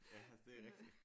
Ja det er rigtigt